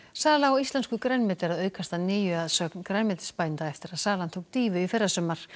sala á íslensku grænmeti er að aukast að nýju að sögn grænmetisbænda eftir að salan tók dýfu í fyrrasumar